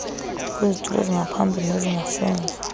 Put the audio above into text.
kwizitulo ezingaphambili nezingasemva